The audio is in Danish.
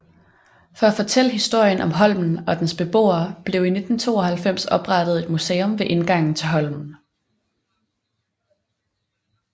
For at fortælle historien om Holmen og dens beboere blev i 1992 oprettet et museum ved indgangen til Holmen